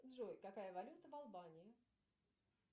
джой какая валюта в албании